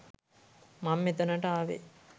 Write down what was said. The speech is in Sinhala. මං මෙතැනට ආවේ